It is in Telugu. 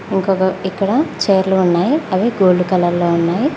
ఓ గ గ ఇక్కడ చైర్లు ఉన్నాయి అవి గోల్డ్ కలర్లో ఉన్నాయి.